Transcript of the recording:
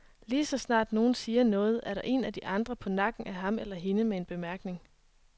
Lige så snart nogen siger noget, er en af de andre på nakken af ham eller hende med en bemærkning.